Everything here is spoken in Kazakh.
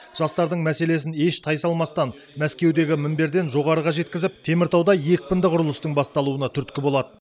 жастардың мәселесін еш тайсалмастан мәскеудегі мінберден жоғарыға жеткізіп теміртауда екпінді құрылыстың басталуына түрткі болады